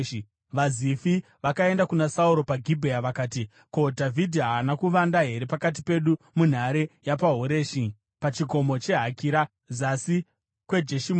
VaZifi vakaenda kuna Sauro paGibhea vakati, “Ko, Dhavhidhi haana kuvanda here pakati pedu munhare yapaHoreshi, pachikomo cheHakira, zasi kweJeshimoni?